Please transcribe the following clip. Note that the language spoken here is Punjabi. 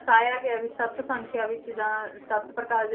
ਦਰਸਾਇਆ ਗਿਆ ਵੀ ਸੱਤ ਸੰਖਿਆ ਵਿੱਚ ਜਾਂ ਸੱਤ ਪ੍ਰਕਾਰ